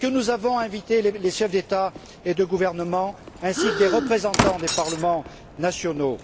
Avons nous invité les chefs d'État et de gouvernement, ainsi que des représentants des parlements nationaux?